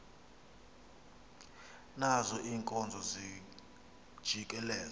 nazo iinkomo zijikeleza